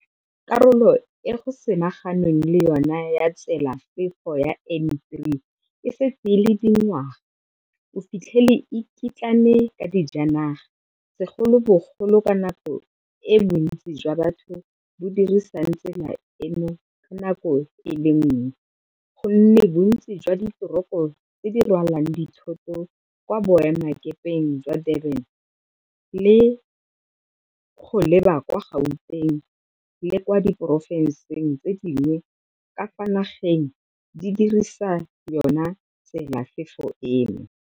Karolo e go samaganweng le yona ya tselafefo ya N3 e setse e le dingwaga o fitlhele e kitlane ka dijanaga, segolobogolo ka nako e bontsi jwa batho bo dirisang tsela eno ka nako e le nngwe go nne bontsi jwa diteroko tse di rwalang dithoto kwa boemelakepeng jwa Durban go leba kwa Gauteng le kwa diporofenseng tse dingwe ka fa nageng di dirisa yona tselafefo eno.